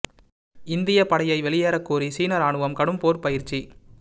இந்தியப் படையை வெளியேறக் கோரி சீன ராணுவம் கடும் போர்ப் பயிற்சி